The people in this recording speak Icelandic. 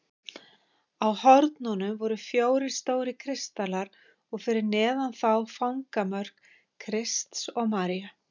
Á hornunum voru fjórir stórir kristallar og fyrir neðan þá fangamörk Krists og Maríu.